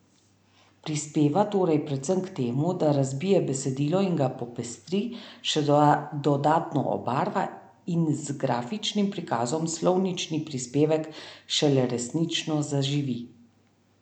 Prispeva torej predvsem k temu, da razbije besedilo in ga popestri, še dodatno obarva, in z grafičnim prikazom slovnični prispevek šele resnično zaživi.